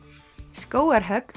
skógarhögg